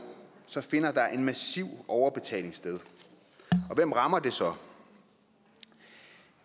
finder der en massiv overbetaling sted og hvem rammer det så